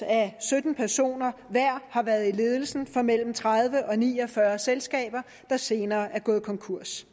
at sytten personer hver har været i ledelsen for mellem tredive og ni og fyrre selskaber der senere er gået konkurs